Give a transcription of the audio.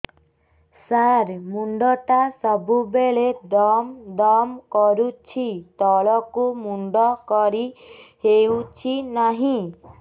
ସାର ମୁଣ୍ଡ ଟା ସବୁ ବେଳେ ଦମ ଦମ କରୁଛି ତଳକୁ ମୁଣ୍ଡ କରି ହେଉଛି ନାହିଁ